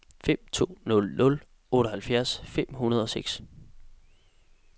fem to nul nul otteoghalvfjerds fem hundrede og seks